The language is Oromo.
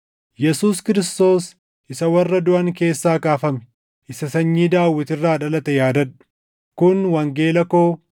Yesuus Kiristoos isa warra duʼan keessaa kaafame, isa sanyii Daawit irraa dhalate yaadadhu. Kun wangeela koo